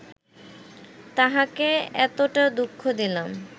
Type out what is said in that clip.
তাঁহাকে এতটা দুঃখ দিলাম